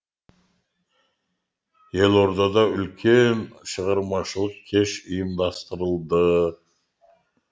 елордада үлкен шығармашылық кеш ұйымдастырылды